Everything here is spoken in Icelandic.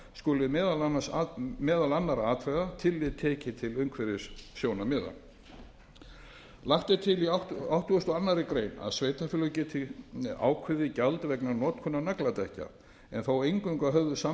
skuli meðal annarra atriða tekið tillit til umhverfissjónarmiða lagt er til í áttugasta og aðra grein að sveitarfélög geti ákveðið gjald vegna notkunar nagladekkja en þó eingöngu að höfðu samráði við vegagerðina